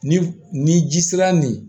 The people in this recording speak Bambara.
Ni ni ji sera nin